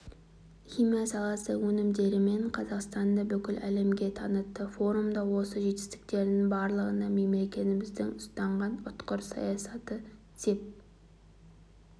химия саласы өнімдерімен қазақстанды бүкіл әлемге танытты форумда осы жетістіктердің барлығына мемлекетіміздің ұстанған ұтқыр саясаты сеп